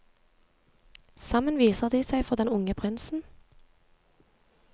Sammen viser de seg for den unge prinsen.